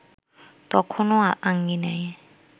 তখনও আঙ্গিনায়